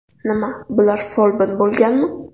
Nima, bular folbin bo‘lganmi?